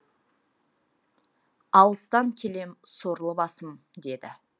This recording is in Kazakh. алыстан келем сорлы басым деді